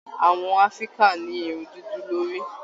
Àwọn áfíríkà ní irun dúdú lórí.